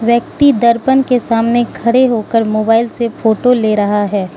व्यक्ति दर्पण के सामने खड़े होकर मोबाइल से फोटो ले रहा है।